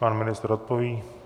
Pan ministr odpoví.